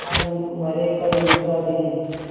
आज मरे कल दूसरा दिन